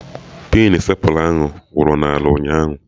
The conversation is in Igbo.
Pinu stepla ahụ wụrụ n'ala ụnyaahụ